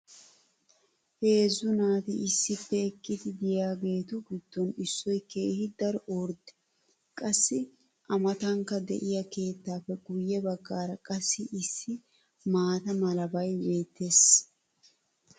heezzu naati issippe eqqidi diyaageetu giddon issoy keehi daro ordde. qassi a matankka diya keettaappe guye bagaara qassi issi maata malabay beetees.